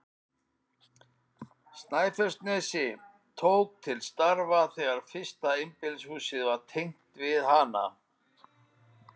Snæfellsnesi, tók til starfa þegar fyrsta einbýlishúsið var tengt við hana.